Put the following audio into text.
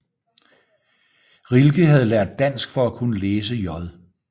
Rilke havde lært dansk for at kunne læse J